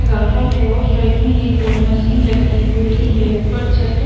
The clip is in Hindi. रहा है और साइड में एक और मशीन रखी हुई है ऊपर छत --